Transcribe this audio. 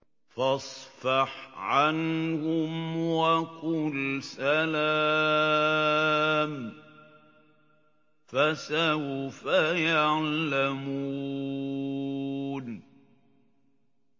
فَاصْفَحْ عَنْهُمْ وَقُلْ سَلَامٌ ۚ فَسَوْفَ يَعْلَمُونَ